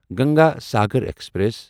Ganga Sagar express